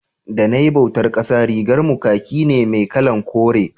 da nayi bautan ƙasa rigar mu kaki ne mai kalan kore